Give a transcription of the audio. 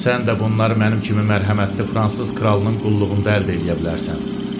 Sən də bunları mənim kimi mərhəmətli fransız kralının qulluğunda əldə eləyə bilərsən.